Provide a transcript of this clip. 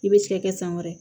I bɛ cɛ kɛ san wɛrɛ